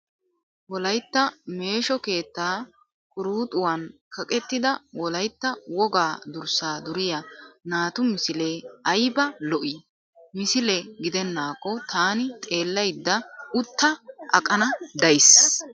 Wolayitta meesho keettaa quruxuwaan kaqettida wolayitta wogaa durssaa duriyaa naatu misilee ayiba lo'ii! Misile gidennaakko taani xeellayidda utta aqana dayisi.